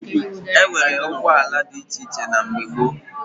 E nwere ụgbọala dị iche iche na mgbe gboo